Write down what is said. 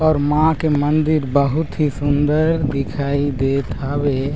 और माँ के मंदिर बहुत ही सुन्दर दिखाई देत हावे।